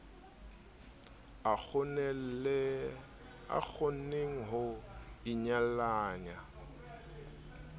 a kgonneng ho inyalanya le